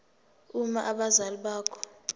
uma abazali bakho